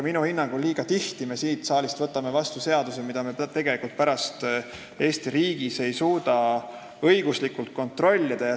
Minu hinnangul võtame me liiga tihti siin saalis vastu seadusi, mille täitmist me pärast Eesti riigis ei suuda õiguslikult kontrollida.